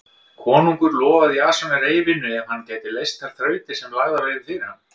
Konungur lofaði Jasoni reyfinu ef hann gæti leyst þær þrautir sem lagðar yrðu fyrir hann.